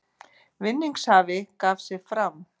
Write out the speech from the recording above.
Vinningshafi gaf sig fram